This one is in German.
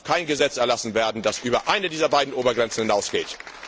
Es darf kein Gesetz erlassen werden, das über eine dieser beiden Obergrenzen hinausgeht.